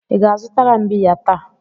Ị ga-azụtara m biya taa?